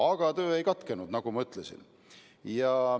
Aga töö ei katkenud, nagu ma ütlesin.